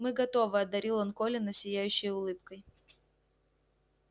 мы готовы одарил он колина сияющей улыбкой